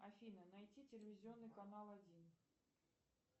афина найти телевизионный канал один